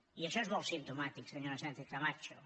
i això és molt simptomàtic senyora sánchezcamacho